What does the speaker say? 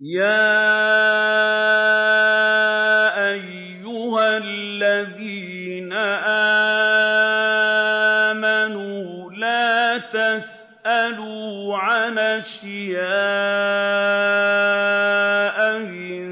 يَا أَيُّهَا الَّذِينَ آمَنُوا لَا تَسْأَلُوا عَنْ أَشْيَاءَ إِن